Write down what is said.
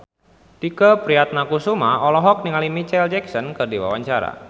Tike Priatnakusuma olohok ningali Micheal Jackson keur diwawancara